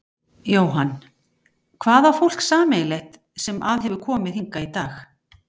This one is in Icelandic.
Jóhann: Hvað á fólk sameiginlegt sem að hefur komið hingað í dag?